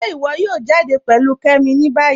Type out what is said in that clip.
Ṣe íwọ yóò jàdẹ pẹ̀lú Kẹ́mí ní báyì?